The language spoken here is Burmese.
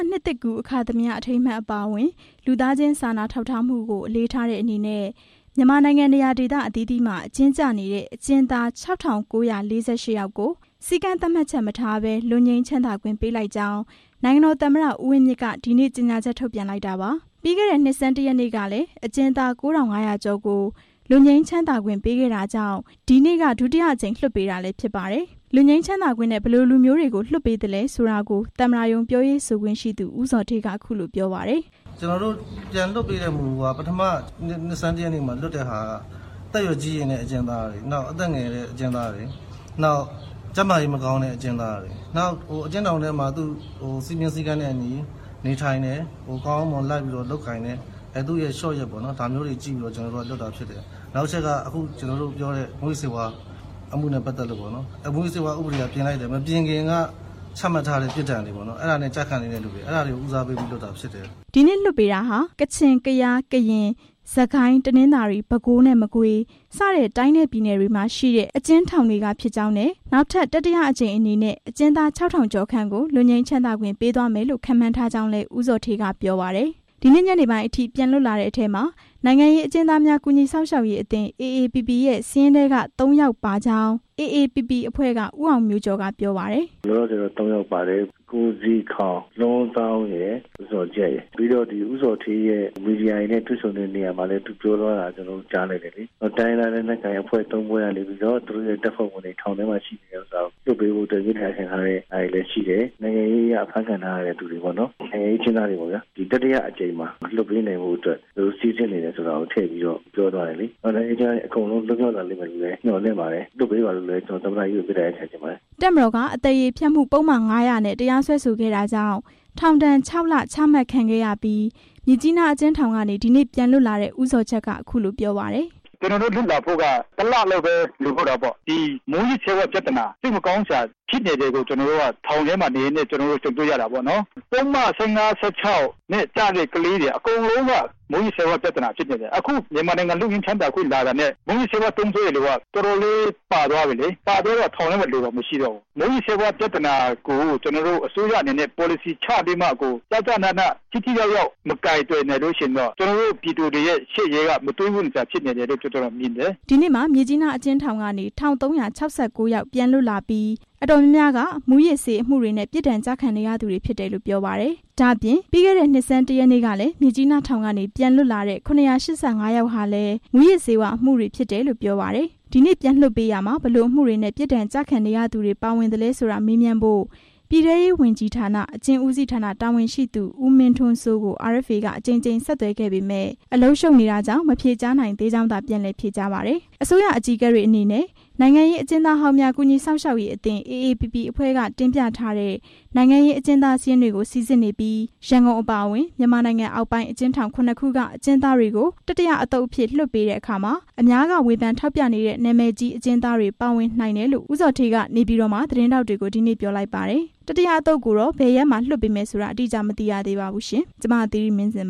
နှစ်သစ်ကူး အခါသမယ အထိမ်းအမှတ်အပါအဝင် လူသားချင်းစာနာထောက်ထားမှုကို အလေးထားတဲ့ အနေနဲ့ မြန်မာနိုင်ငံနေရာဒေသအသီးသီးမှာ အကျဉ်းကျနေတဲ့ အကျဉ်းသား ၆၉၄၈ ယောက်ကို စည်းကမ်း သတ်မှတ်ချက်မထားဘဲ လွတ်ငြိမ်းချမ်းသာခွင့်ပေးလိုက်ကြောင်း နိုင်ငံတော်သမ္မတ ဦးဝင်းမြင့် က ဒီနေ့ကြေညာချက် ထုတ်ပြန်လိုက်တာပါ။ ပြီးခဲ့တဲ့ နှစ်ဆန်းတစ်ရက်နေ့ကလည်း အကျဉ်းသား ၉၅၀၀ ကျော်ကို လွတ်ငြိမ်းချမ်းသာခွင့် ပေးခဲ့တာကြောင့် ဒီနေ့က ဒုတိယအကြိမ်လွှတ်ပေးတာလည်း ဖြစ်ပါတယ်။ လွတ်ငြိမ်းချမ်းသာခွင့်နဲ့ ဘယ်လိုလူမျိုးတွေကို လွှတ်ပေးသလဲဆိုတာကို သမ္မတရုံးပြောရေးဆိုခွင့်ရှိသူ ဦးဇော်ဌေး က အခုလို ပြောပါတယ်။ "ပြန်လွှတ်ပေးတဲ့မူက ပထမနှစ်ဆန်းတစ်ရက်နေ့မှာ လွှတ်တာက သက်ကြီးရွယ်အိုတွေ၊ အသက်ငယ်သူတွေ၊ ကျန်းမာရေးမကောင်းသူတွေ၊ ထောင်စည်းမျဉ်းစည်းကမ်းတွေနဲ့အညီ နေသူတွေ၊ နောက် မူးယစ်ဆေးဝါးအမှုတွေနဲ့ ကျခံနေသူတွေ၊ မူးယစ်ဆေးဝါးဥပဒေက ပြင်လိုက်တယ်။ မပြင်ခင်က ပြစ်ဒဏ်ကျခံနေရသူတွေကို ဦးစားပေးပြီးလွှတ်လိုက်တာဖြစ်တယ်။" ဒီနေ့လွှတ်ပေးတာဟာ ကချင်၊ ကယား၊ ကရင်၊ စစ်ကိုင်း၊တနင်္သာရီ၊ ပဲခူး နဲ့ မကွေး စတဲ့ တိုင်းနဲ့ပြည်နယ်တွေက မှာရှိတဲ့ အကျဉ်းထောင်တွေကဖြစ်ကြောင်း နဲ့ နောက်ထပ် တတိယအကြိမ်အနေနဲ့ အကျဉ်းသား ၆ ထောင် ကျော်ခန့်ကို လွတ်ငြိမ်းချမ်းသာခွင့်ပေးသွားမယ်လို့ ခန့်မှန်းထားကြောင်းလည်း ဦးဇော်ဌေး က ပြောပါတယ်။ ဒီနေ့ညနေပိုင်းအထိ ပြန်လွတ်လာတဲ့အထဲမှာ နိုင်ငံရေးအကျဉ်းသားများ ကူညီစောင့်ရှောက်ရေးအသင်း AAPP ရဲ့ စာရင်းထဲက ၃ ယောက်ပါကြောင်း AAPP အဖွဲ့က ဦးအောင်မျိုးကျော် က ပြောပါတယ်။ "လောလောဆယ်တော့ ၃ယောက်ပါတယ်။ ကိုဇီထောင်၊ လွမ်းဇောင်းရယ် ဇော်ဂျတ်ရယ်။ ဦးဇော်ဌေး မီဒီယာတွေနဲ့ တေ့ွတော့ ပြောသွားတာ ကြားတယ်။ တိုင်းရင်းသားလက်နက်ကိုင်အဖွဲ့ ၃ဖွဲ့က သူတို့တပ်ဖွဲ့ဝင်တွေ ထောင်ထဲမှာ ရှိနေတာ လွှတ်ပေးဖို့ မေတ္တာရပ်ခံထားတာရှိတယ်။ နိုင်ငံရေးအရ ဖမ်းခံထားရသူတွေ၊ တတိယအကြိမ်မှာ လွှတ်ပေးနိုင်ဖို့ သူတို့စိစစ်နေတယ်လို့ ထည့်ပြောသွားတယ်။ နိုင်ငံရေးအကျဉ်းသားတွေ အားလုံး လွတ်မြောက်လာလိမ့်မယ်လို့ မျှော်လင့်ပါတယ်။ လွှတ်ပေးဖို့လည်း သမ္မတကြီးကို မေတ္တာရပ်ခံပါတယ်။" တပ်မတော်က အသရေဖျက်မှုပုဒ်မ ၅၀၀ နဲ့ တရားစွဲဆိုခဲ့တာကြောင့် ထောင်ဒဏ် ၆ လ ချမှတ်ခံခဲ့ရပြီး မြစ်ကြီးနားအကျဉ်းထောင်ကနေ ဒီနေ့ ပြန်လွတ်လာတဲ့ ဦးဇော်ဂျက်က အခုလိုပြောပါတယ်။ "ကျွန်တော်တို့ လွတ်လာဖို့ တလလောက်ပဲ လိုတော့တာ။ မူးယစ်ဆေးပြဿနာတွေ စိတ်မကောင်းစရာ ထောင်ထဲမှာ ကြုံတေ့ွရတယ်။ ပုဒ်မ ၁၅၊ ၁၆ နဲ့ ကျတဲ့ ကလေးတွေက အားလုံး မူးယစ်ဆေးပြဿနာဖြစ်နေတယ်။ ဒီလွတ်ငြိမ်းချမ်းသာခွင့်နဲ့ လွတ်လာတဲ့လူတွေထဲမှာ မူးယစ်ဆေးသုံးစွဲသူတွေ အကုန်လုံး ပါသွားပြီ။ ထောင်ထဲမှာ လူမရှိတော့ဘူး။ မူးယစ်ဆေးဝါးပြဿနာကို အစိုးရအနေနဲ့ ပေါ်လစီချပြီး ထိထိရောက်ရောက်မကိုင်တွယ်နိုင်ရင် ပြည်သူတွေရဲ့ ရှေ့ရေးက မတွေးဝံ့စရာပဲ" ဒီနေ့မှာ မြစ်ကြီးနားအကျဉ်းထောင်ကနေ ၁၃၆၉ ယောက် ပြန်လွတ်လာပြီး အတော်များများက မူးယစ်ဆေးအမှုတွနဲ့ ပြစ်ဒဏ်ကျခံနေရသူတွေဖြစ်တယ်လို့ ပြောပါတယ်။ ဒါ့အပြင် ပြီးခဲ့တဲ့နှစ်ဆန်းတစ်ရက်နေ့ကလည်း မြစ်ကြီးနားထောင်ကနေ ၇၈၅ ယောက်ဟာလည်း မူးယစ်ဆေး အမှုတွေ ဖြစ်တယ်လို့ ပြောပါတယ်။ ဒီနေ့ပြန်လွှတ်ပေးရာမှာ ဘယ်လိုအမှုတွနဲ့ ပြစ်ဒဏ်ကျခံနေရသူတွေပါဝင်သလဲဆိုတာ မေးမြန်းဖို့ ပြည်ထဲရေးဝန်ကြီးဌာန၊ အကျဉ်းဦးစီးဌာန တာဝန်ရှိသူ ဦးမင်းထွန်းစိုး ကို RFA က အကြိမ်ကြိမ် ဆက်သွယ်ခဲ့ပေမယ့် အလုပ်ရှုပ်နေသဖြင့် မဖြေကြားနိုင်သေးကြောင်းသာ ပြန်လည်ဖြေကြားပါတယ်။ အစိုးရအကြီးအကဲတွေအနေနဲ့ နိုင်ငံရေးအကျဉ်းသားဟောင်းများ ကူညီစောင့်ရှောက်ရေးအသင်း AAPP အဖွဲ့က တင်ပြထားတဲ့ နိုင်ငံရေးအကျဉ်းသား စာရင်းတွေကို စိစစ်နေပြီး ရန်ကုန်အပါအဝင် မြန်မာနိုင်ငံ အောက်ပိုင်း အကျဉ်းထောင် ၇ ခုက အကျဉ်းသားတွေကို တတိယအသုတ်အဖြစ်လွှတ်ပေးရာမှာ အများက ဝေဖန်ထောက်ပြနေတဲ့ နာမည်ကြီးအကျဉ်းသားတွေ ပါဝင်နိုင်တယ်လို့ ဦးဇော်ဌေးက က နေပြည်တော်မှာ သတင်းထောက် တွေကို ဒီနေ့ ပြောလိုက်ပါတယ်။ တတိယအသုတ်ကိုတော့ ဘယ်ရက်မှာလွှတ်ပေးမယ်ဆိုတာ မသိရသေးပါဘူး။ ဒီသတင်းကို RFA သတင်းထောက် မသီရီမင်းဇင်